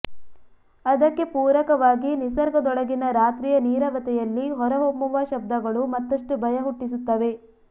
ಅದಕ್ಕೆ ಪೂರಕವಾಗಿ ನಿಸರ್ಗದೊಳಗಿನ ರಾತ್ರಿಯ ನೀರವತೆಯಲ್ಲಿ ಹೊರಹೊಮ್ಮುವ ಶಬ್ದಗಳು ಮತ್ತಷ್ಟು ಭಯ ಹುಟ್ಟಿಸುತ್ತವೆ